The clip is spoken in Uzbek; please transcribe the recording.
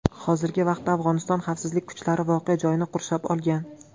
Hozirgi paytda Afg‘oniston xavfsizlik kuchlari voqea joyini qurshab olgan.